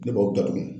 Ne b'o datugu